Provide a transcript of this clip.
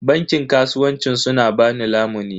Bankin kasuwancin sun ba ni lamuni.